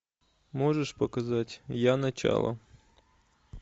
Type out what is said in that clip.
можешь показать я начало